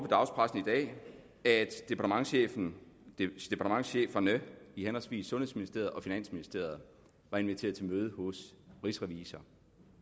dagspressen i dag at departementscheferne i henholdsvis sundhedsministeriet og finansministeriet var inviteret til møde hos rigsrevisor